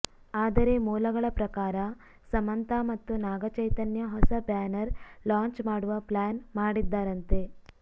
ಆದರೆ ಮೂಲಗಳ ಪ್ರಕಾರ ಸಮಂತಾ ಮತ್ತು ನಾಗಚೈತನ್ಯ ಹೊಸ ಬ್ಯಾನರ್ ಲಾಂಚ್ ಮಾಡುವ ಪ್ಲಾನ್ ಮಾಡಿದ್ದಾರಂತೆ